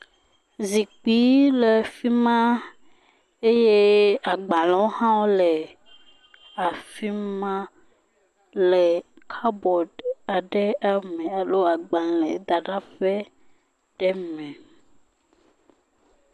Zikpui le afima eye agbalẽwo hã le afima le kɔpboaɖi aɖe me alo agbalẽ da ɖa ƒe ɖe me.